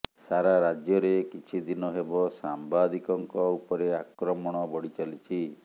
ସାରା ରାଜ୍ୟରେ କିଛି ଦିନ ହେବ ସାମ୍ବାଦିକଙ୍କ ଉପରେ ଆକ୍ରମଣ ବଢ଼ି ଚାଲିଛି